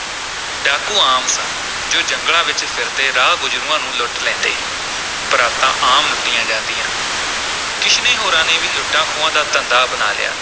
ਡਾਕੂ ਆਮ ਸਨ ਜੋ ਜੰਗਲਾਂ ’ਚ ਫਿਰਦੇ ਰਾਹ ਗੁਜ਼ਰੂਆਂ ਨੂੰ ਲੁੱਟ ਲੈਂਦੇ ਸਨ ਬਰਾਤਾਂ ਆਮ ਲੁੱਟੀਆਂ ਜਾਂਦੀਆਂ ਕਿਸ਼ਨੇ ਹੋਰਾਂ ਨੇ ਵੀ ਲੁੱਟਾਂ-ਖੋਹਾਂ ਦਾ ਧੰਦਾ ਅਪਣਾ ਲਿਆ।